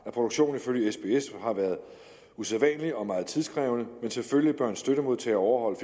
produktionen ifølge sbs har været usædvanlig og meget tidkrævende men selvfølgelig bør en støttemodtager overholde